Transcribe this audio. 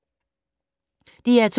DR2